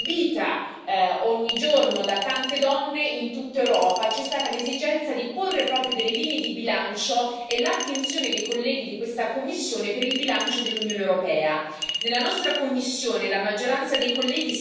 Soprattutto alla luce di una violenza subita ogni giorno da tante donne in tutta Europa, c'è stata l'esigenza di porre proprio delle linee di bilancio e l'attenzione dei colleghi della commissione per i bilanci dell'Unione europea.